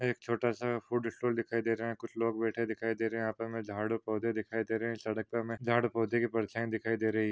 एक छोटा सा फूड स्टाल दिखाई दे रहा है कुछ लोग बैठे दिखाई दे रहे है यहा पर हमें झाड और पौधे दिखाई दे रहे है सड़क पे हमें झाड और पौधे की परछाई भी दिखाई दे रही है।